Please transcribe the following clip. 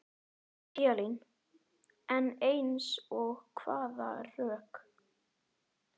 Elín: En eins og hvaða rök?